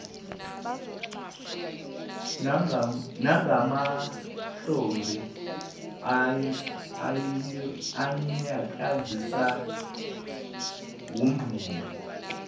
nangamahlombe anyakaza womabili